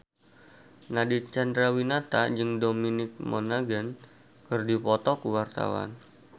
Nadine Chandrawinata jeung Dominic Monaghan keur dipoto ku wartawan